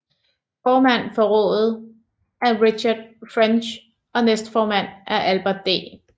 Formand for rådet er Richard French og næstformand er Albert D